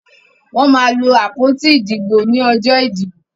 Wọ́n máa lo àpótí ìdìbò lọ́jọ́ ìdìbò.